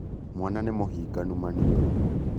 Mwana nīmūhinganu maniūrū